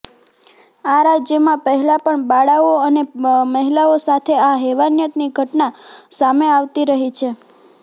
આ રાજ્યમાં પહેલાં પણ બાળાઓ અને મહિલાઓ સાથે આ હેવાનિયતની ઘટના સામે આવતી રહી છે